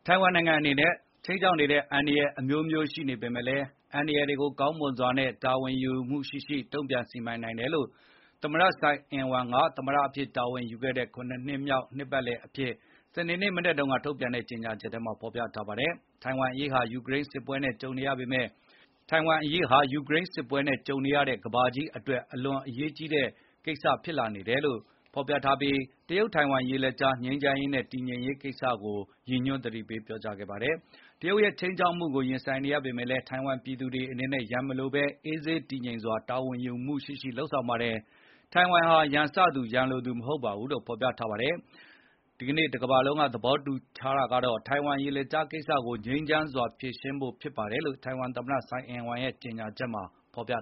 ထိုင်ဝမ်နိုင်ငံအပေါ် ခြိမ်းခြောက်နေတဲ့ အန္တရယ်အမျိုးမျိုးရှိနေပေမယ့်လည်း အန္တရယ်တွေကို ကောင်းမွန်စွာနဲ့ တာဝန်ယူ မှုရှိရှိ တုန့်ပြန်စီမံနိုင်တယ်လို့ သမတ ဆိုင် အင်ဝမ် Tsa Ing-Wen သူသမတအဖြစ်တာဝန်ယူခဲ့တဲ့ ၇ နှစ်မြောက်နှစ် ပတ်လည်အဖြစ် စနေနေ့မနက်တုန်းက ထုတ်ပြန်တဲ့ကြေငြာချက်ထဲမှာဖေါ်ပြထားပါတယ်။ ထိုင်ဝမ်အရေးဟာ ယူကရိန်းစစ်ပွဲနဲ့ကြုံနေရတဲ့ ကမ္ဘာကြီးအတွက်အလွန်အရေးကြီးတဲ့ ကိစ္စဖြစ်လာနေတယ်လို့၊ သမတ ဆိုင်အင်ဝမ်ကပြောဆိုထားပြီး၊ တရုတ်-ထိုင်ဝမ်ရေလက်ကြား ငြိမ်းချမ်းရေးနဲ့တည်ငြိမ်ရေးကိစ္စကိုရည်ညွန်းပြီး သတိပေး ပြောကြားထားပါတယ်။ တရုတ်ရဲ့ခြိမ်းခြောက်မှုကိုရင်ဆိုင်နေရပေမယ့်လည်း ထိုင်ဝမ်ပြည်သူတွေအနေနဲ့ ရန်မလိုဘဲ၊ အေးဆေးတည်ငြိမ်စွာ တာဝန်ယူမှုရှိရှိလုပ်ဆောင်နေပါတယ်။ ထိုင်ဝမ်ဟာ ရန်စသူ၊ ရန်လိုသူ မဟုတ်ပါဘူးလို့လည်းဖေါ်ပြထားပါတယ်။ ဒီကနေ့ တကမ္ဘာလုံးကသဘောတူထားကြတာကတော့ ထိုင်ဝမ်ရေလက်ကြားကိစ္စကို ငြိမ်းချမ်းစွာဖြေရှင်းဖို့ဖြစ်ပါတယ် လို့ ဆိုင်အင်ဝမ်သမတ ဆိုင်အင်ဝမ်က ကြေငြာချက်မှာပြ